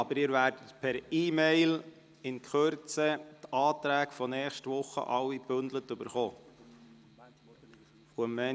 Aber Sie werden in Kürze die Anträge von nächster Woche gebündelt per E-Mail erhalten.